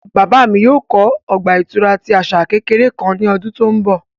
Baba mi yoo kọ ọgba-ìturá ti asa kekere kan ni ọdun to nbọ